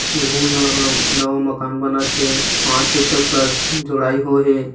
एहु मन नवा माकन बनत थे पांच फिट तक प्लस जुड़ाई हो हे।